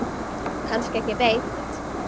Kannski ekki beint.